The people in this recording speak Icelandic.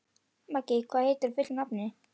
Maggi, hvað heitir þú fullu nafni?